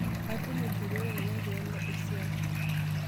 Atudumunye duo tadekenya pee alo esia .